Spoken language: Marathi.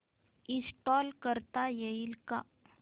इंस्टॉल करता येईल का